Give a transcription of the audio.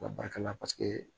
U ka baarakɛla pasi